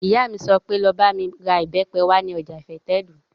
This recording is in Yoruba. Ìyá mi sọ pé, 'Lọ bá mi ra ìbẹ́pẹ wá ní ọjà ìfẹ́tẹ̀dó!